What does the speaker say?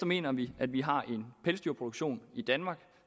mener vi at vi har en pelsdyrproduktion i danmark